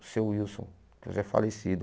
O seu Wilson, que já é falecido.